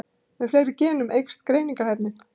Með fleiri genum eykst greiningarhæfnin.